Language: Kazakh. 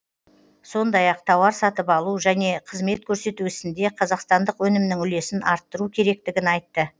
сондай ақ тауар сатып алу және қызмет көрсету ісінде қазақстандық өнімнің үлесін арттыру керектігін айтты